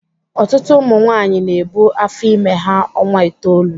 Ọtụtụ ụmụ nwaanyị na-ebu afọ ime ha ọnwa itoolu.